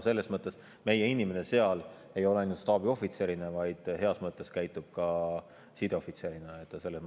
Selles mõttes ei ole meie inimene seal ainult staabiohvitser, vaid ta käitub ka heas mõttes sideohvitserina.